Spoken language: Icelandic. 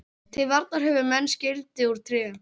Til varnar höfðu menn skildi úr tré.